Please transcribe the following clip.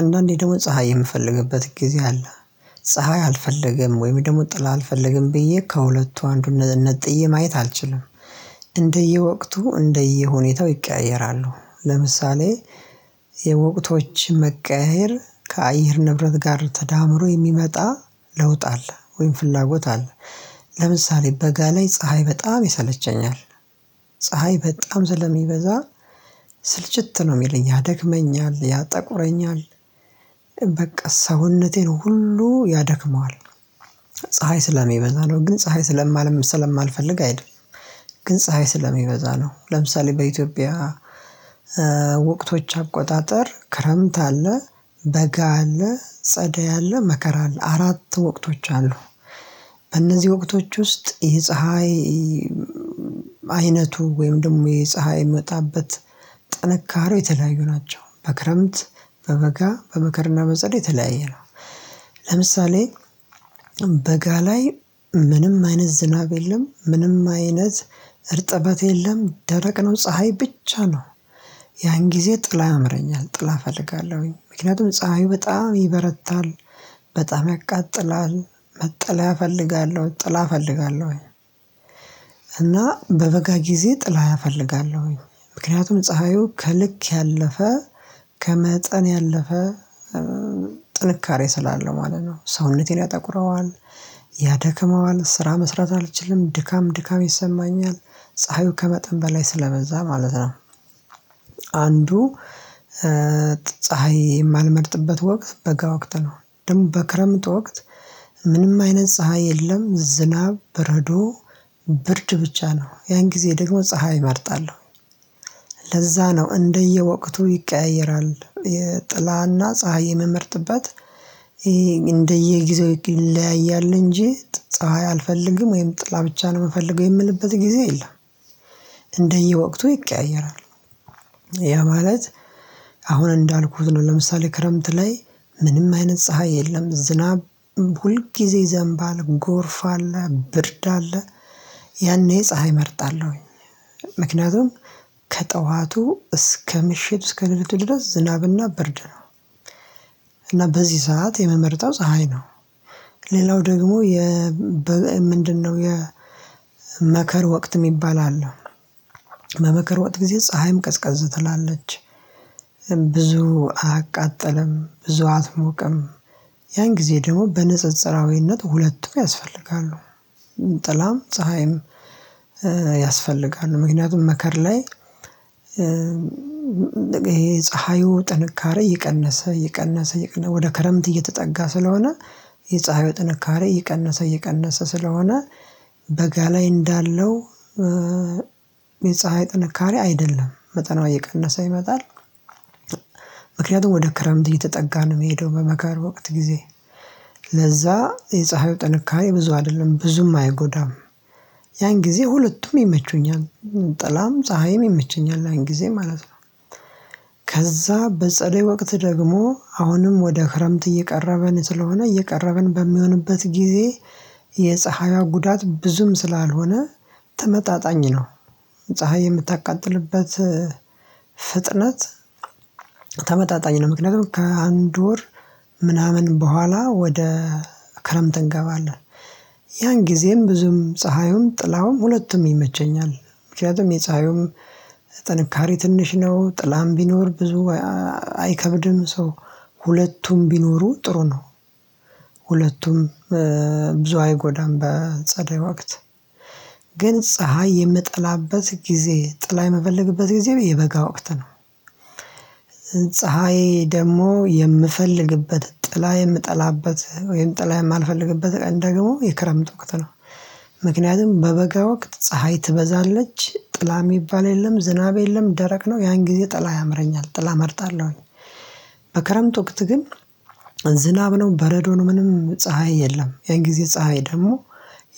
አንዳንዴ ደግሞ ፀሀይ የምፈልግበት ጊዜ አለ። ፀሀይ አልፈለግም ወይም ደግሞ ጥላ አልፈለግም ብዬ ከሁለቱ አንዱን ነጥዬ ማየት አልችልም። እንደየወቅቱ እንደየሁኔታው ይቀያየራሉ ለምሳሌ የወቅቶች መቀያየር ከአየር ንብረት ጋር ተዳምሮ የሚመጣ ለውጥ አለ ወይም ፍላጎት አለ። ለምሳሌ በጋ ላይ ፀሀይ በጣም ይሰለቸኛል። ፀሀይ በጣም ሰለ ሚበዛ ስልችት ነው የሚለኝ ያደከመኛል ያጠቁረኛል። በቃ ሰውነቴን ሁሉ ያደክመዋል። ፀሀይ ስለሚበዛ ነው ግን ፀሀይ ስለ ማል ሰለማልፈልግ አይደለም። ግን ፀሀይ ስለሚበዛ ነው። ለምሳሌ በኢትዮጵያ በወቅቶች አቆጣጠር ክረምት አለ በጋ አለ ጸደይ አለ መከራ አለ አራት ወቅቶች አሉ። በእነዚህ ወቅቶች ውስጥ ይህ ፀሀይ አይነቱ ወይም ደግሞ የፀሀይ ሚወጣበት ጥንካሬው የተለያዩ ናቸው። በክረምት በበጋ በመከርና በጸደይ የተለያየ ነው። ለምሳሌ በጋ ላይ ምንም አይነት ዝናብ የለም ምንም አይነት እርጥበት የለም ደረቅ ነው ፀሀይ ብቻ ነው። ያን ጊዜ ጥላ ያምረኛል ጥላ እፈልጋለሁኝ ምክንያቱም ፀሀዩ በጣም ይበረታል። በጣም ያቃጥላል መጠለያ እፈልጋለሁ ጥላ እፈልጋለሁ። እና በበጋ ጊዜ ጥላ አፈልጋለሁኝ ምክንያቱም ፀሀዩ ከልክ ያለፈ ከመጠን ያለፈ ጥንካሬ ስላለው ማለት ነው ሰውነቴን ያጠቁረዋል። ያደክመዋል ስራ መስራት አልችልም ድካም ድካም ይሰማኛል። ፀሀዩ ከመጠን በላይ ስለበዛ ማለት ነው። አንዱ ፀሀይ የማልመርጥበት ወቅት በጋ ወቅት ነው። ደግሞ በክረምት ወቅት ምንም አይነት ፀሀይ የለም ዝናብ በረዶ ብርድ ብቻ ነው ያን ጊዜ ደግሞ ፀሀይ እመርጣለሁ። ለዛ ነው እንደየወቅቱ ይቀያየራል የጥላና ፀሀይ የምመርጥበት እንደየጊዜው ይለያያል እንጂ ፀሀይ አልፈልግም ወይም ጥላ ብቻ ነው ምፈልገው የምልበት ጊዜ የለም። እንደየወቅቱ ይቀያየራል። ያ ማለት አሁን እንዳልኩት ነው ለምሳሌ ክረምት ላይ ምንም አይነት ፀሀይ የለም ዝናብ ሁልጊዜ ይዘምባል ጎርፍ አለ ብርድ አለ። ያኔ ፀሀይ እመርጣለሁ። ምክንያቱም ከጠዋቱ እስከ ምሽት እስከ ለሊቱ ድረስ ዝናብና ብርድ ነው። እና በዚህ ሰዓት የምመርጠው ፀሀይ ነው። ሌላው ደግሞ የ ምንድነው? የ መከር ወቅት ሚባል አለ። የመከር ወቅት ጊዜ ፀሀይም ቀዝቀዝ ትላለች ብዙ አቃጠለም ብዙ አትሞቅም። ያን ጊዜ ደግሞ በንጽጽራዊነት ሁለቱ ያስፈልጋሉ። ጥላም ፀሀይም ያስፈልጋል። ምክንያቱም መከር ላይ ይሄ ፀሀዩ ጥንካሬ እቀነሰ እቀነሰ እቀነሰ ወደ ክረምት እየተጠጋ ስለሆነ። የፀሀዩ ጥንካሬ እቀነሰ እቀነሰ ስለሆነ። በጋ ላይ እንዳለው የፀሀይ ጥንካሬ አይደለም መጠኗ እየቀነሰ ይመጣል። ምክንያቱም ወደ ክረምት እየተጠጋን የሚሄደው በመከር ወቅት ጊዜ ለዛ የፀሀዩ ጥንካሬ ብዙ አይደለም ብዙም አይጎዳም። ያን ጊዜ ሁለቱም ይመቸኛል ጥላም ፀሀይም ይመቸኛል ያን ጊዜ ማለት ነው። ከዛ በጸደይ ወቅት ደግሞ አሁንም ወደ ክረምት እየቀረብን ስለሆነ እየቀረብን በሚሆንበት ጊዜ የፀሀይዋ ጉዳት ብዙም ስላልሆነ ተመጣጣኝ ነው። ፀሀይ የምታቃጥልበት ፍጥነት ተመጣጣኝ ነው ምክንያቱም ከአንድ ወር ምናምን በኋላ ወደ ክረምት እንገባለን። ያን ጊዜም ብዙም ፀሀዩም ጥላውም ሁለቱም ይመቸኛል ምክንያቱም የፀሀዩም ጥንካሬ ትንሽ ነው ጥላም ቢኖር ብዙ አይከብድም ሰው ሁለቱም ቢኖሩ ጥሩ ነው። ሁለቱም ብዙ አይጎዳም በጸደይ ወቅት ግን ፀሀይ የምጠላበት ጊዜ ጥላ የምፈልግበት ጊዜ የበጋ ወቅት ነው። ፀሀይ ደሞ የምፈልግበት ጥላ የምጠላበት ወይም ጥላ የማልፈልግበት ቀን ደግሞ የክረምት ወቅት ነው። ምክንያቱም በበጋ ወቅት ፀሀይ ትበዛለች ጥላ የሚባል የለም ዝናብ የለም ደረቅ ነው ያን ጊዜ ጥላ ያምረኛል ጥላ እመርጣለሁኝ። በከረምት ወቅት ግን ዝናብ ነው በረዶን ምንም ፀሀይ የለም ያን ጊዜ ፀሀይ ደግሞ